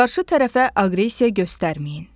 Qarşı tərəfə aqressiya göstərməyin.